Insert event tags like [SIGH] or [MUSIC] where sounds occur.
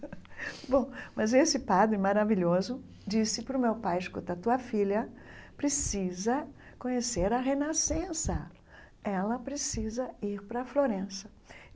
[LAUGHS] Bom, mas esse padre maravilhoso disse para o meu pai, escuta, tua filha precisa conhecer a renascença, ela precisa ir para Florença.